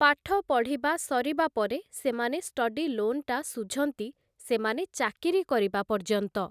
ପାଠ ପଢ଼ିବା ସରିବା ପରେ ସେମାନେ ଷ୍ଟଡି ଲୋନ୍‌ଟା ଶୁଝନ୍ତି ସେମାନେ ଚାକିରୀ କରିବା ପର୍ଯ୍ୟନ୍ତ ।